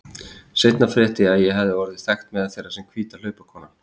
Seinna frétti ég að ég hefði verið orðin þekkt meðal þeirra sem hvíta hlaupakonan.